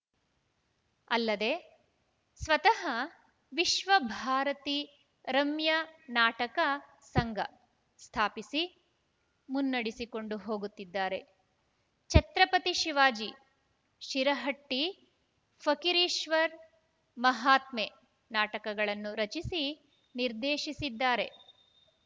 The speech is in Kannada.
ಅಲ್ಲದೆ ಸ್ವತಃ ವಿಶ್ವ ಭಾರತಿ ರಮ್ಯ ನಾಟಕ ಸಂಘ ಸ್ಥಾಪಿಸಿ ಮುನ್ನಡೆಸಿಕೊಂಡು ಹೋಗುತ್ತಿದ್ದಾರೆ ಛತ್ರಪತಿ ಶಿವಾಜಿ ಶಿರಹಟ್ಟಿಫಕ್ಕೀರೇಶ್ವರ ಮಹತ್ಮೆ ನಾಟಕಗಳನ್ನು ರಚಿಸಿ ನಿರ್ದೇಶಿಸಿದ್ದಾರೆ